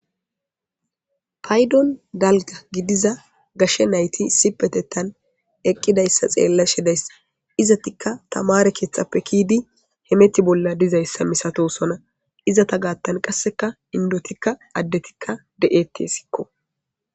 paydon dalga gidiza gashshe nayti sipetetan eqqidayssa xeella shidayssa izatikka tamare keethtxappe kiidi hemeti bolla dizayssa misatosona izata gaattan qasseka indotikka addetikka de7ete sikko